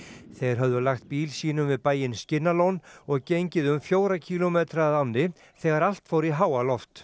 þeir höfðu lagt bíl sínum við bæinn og gengið um fjóra kílómetra að ánni þegar allt fór í háaloft